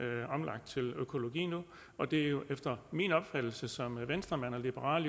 er omlagt til økologi nu og det er jo efter min opfattelse som venstremand og liberal